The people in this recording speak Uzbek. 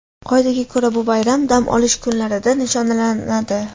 Qoidaga ko‘ra, bu bayram dam olish kunlarida nishonlanadi.